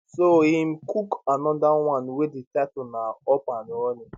so im cook anoda one wey di title na up and running